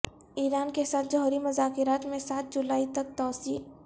ایران کے ساتھ جوہری مذاکرات میں سات جولائی تک توسیع